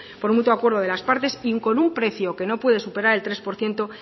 por mutuo acuerdo de las partes y con un precio que no puede superar el tres por ciento